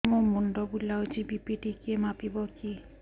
ମୋ ମୁଣ୍ଡ ବୁଲାଉଛି ବି.ପି ଟିକିଏ ମାପିବ କି